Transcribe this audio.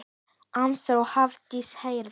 Arnþór og Hafdís Hera.